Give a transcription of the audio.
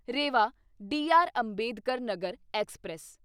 Rewa D R. Ambedkar Nagar express